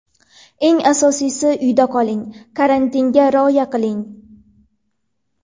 Eng asosiysi, uyda qoling, karantinga rioya qiling.